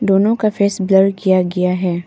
दोनों का face blur किया गया है।